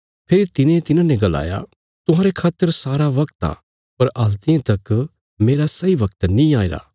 फेरी तिने तिन्हांने गलाया तुहांरे खातर सारा बगत आ पर हल्तियें तक मेरा सही बगत नीं आईरा